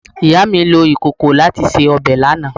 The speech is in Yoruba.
Mummy lo ikoko lati se obe lana